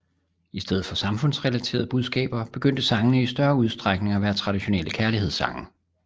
I stedet for samfundsrelaterede budskaber begyndte sangene i større udstrækning at være traditionelle kærlighedssange